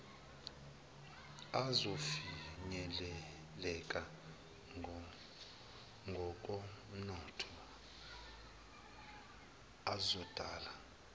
azofinyeleleka ngokomnotho azodala